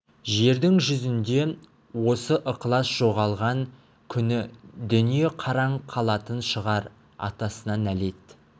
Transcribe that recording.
жердің жүзінде осы ықылас жоғалған күні дүние қараң қалатын шығар атасына нәлет